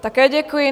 Také děkuji.